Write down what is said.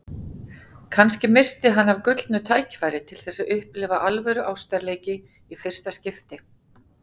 Kannski missti hann af gullnu tækifæri til þess að upplifa alvöru ástarleiki í fyrsta skipti.